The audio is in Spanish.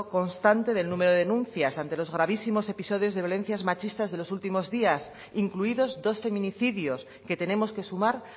constante del número de denuncias ante los gravísimos episodios de violencia machista de los últimos día incluidos dos feminicidios al que tenemos que sumar